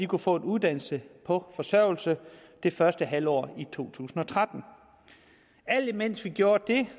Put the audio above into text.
kunne få en uddannelse på forsørgelse det første halve år i to tusind og tretten alt imens vi gjorde det